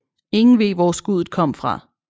Ingen ved hvor skuddet kom fra